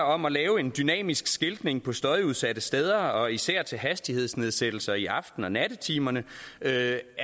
om at lave en dynamisk skiltning på støjudsatte steder og især til hastighedsnedsættelser i aften og nattetimerne er